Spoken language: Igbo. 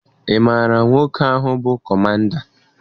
Ị maara nwoke ahụ bụ kọmanda?